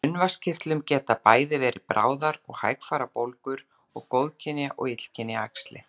Í munnvatnskirtlum geta bæði verið bráðar og hægfara bólgur og góðkynja og illkynja æxli.